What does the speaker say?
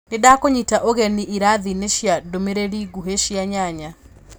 nindakũnyita ũgeni irathinĩ cia ndũmirĩli nguhĩ cia nyanya